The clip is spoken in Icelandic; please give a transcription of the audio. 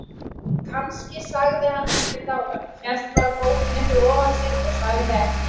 Kannski sagði hann ekkert áðan, hélt bara bókinni fyrir ofan sig og sagði ekki neitt.